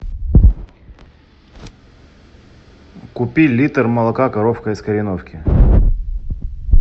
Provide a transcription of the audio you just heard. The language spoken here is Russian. купи литр молока коровка из кореновки